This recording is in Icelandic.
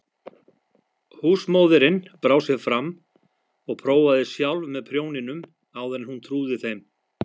Húsmóðirin brá sér fram og prófaði sjálf með prjóninum áður en hún trúði þeim.